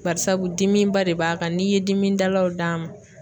Bari sabu dimi ba de b'a kan n'i ye dimidalaw d'a ma